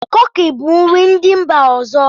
Kuki bụ nri ndị mba ọzọ.